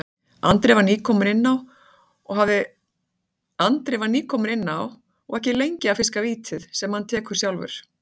Andri var nýkominn inn á og ekki lengi að fiska vítið, sem hann tekur sjálfur.